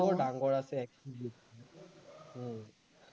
ডাঙৰ আছে XUV, উম